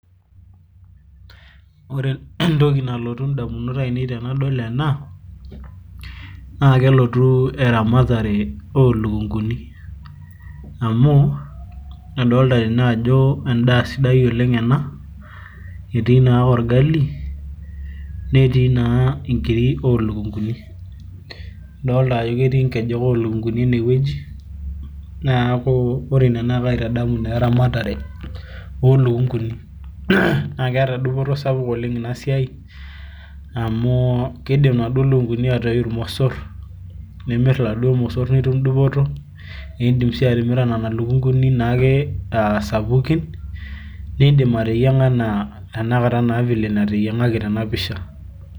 ore entok,i nalotu idamunot aainei tenidol ena, naa kelotu eramatare oolukunguni, amu kadoolta tene ajo edaa sidai oleng ena. etii naa orgali netii naa nkiri oolukunguni, idoolta ajo ketii nkejek oolukunkuni ene wueji, neeku kaitadamu naa eramatare oolunkuni. naa keeta dupoto sapuk oleng ina siai, amu keidim inaduoo luknkuni aatoi irmosor, nimir iladuoo osor. idim isii atimira nena lukunguni ake sapukin. nidim ateyiang'a anaa ena teyiang'aki tena pisha.